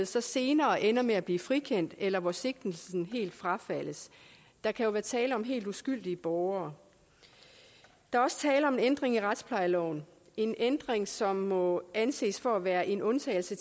så senere ender med at blive frikendt eller hvor sigtelsen helt frafaldes der kan jo være tale om helt uskyldige borgere der er også tale om en ændring i retsplejeloven en ændring som må anses for at være en undtagelse